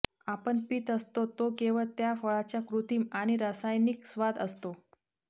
आपण पीत असतो तो केवळ त्या फळाचा कृत्रिम आणि रासायनिक स्वाद असतो